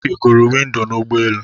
Ị gụrụ windo n'ụgbọelu?